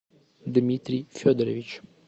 дмитрий федорович